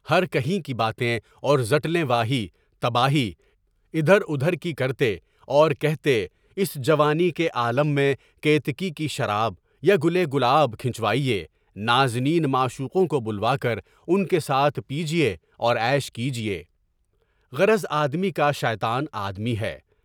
ہر کہیں کی باتیں اور زٹلیں، واہی تباہی ادھر ادھر کرتے اور کہتے، اس جوانی کے عالم میں کت کی شراب، یا گلے گلاب چھلکوا ہے۔ نازنین معشوقوں کو بلوا کر ان کے ساتھ پیجیے اور غش کیجیے، غرض آدمی کا شیطان آدمی ہے۔